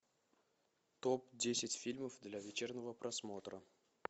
топ десять фильмов для вечернего просмотра